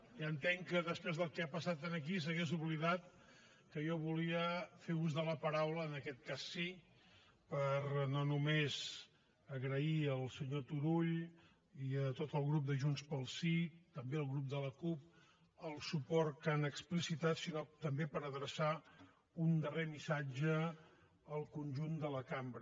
ja entenc que després del que ha passat aquí s’hagués oblidat que jo volia fer ús de la paraula en aquest cas sí per no només agrair al senyor turull i a tot el grup de junts pel sí també al grup de la cup el suport que han explicitat sinó també per adreçar un darrer missatge al conjunt de la cambra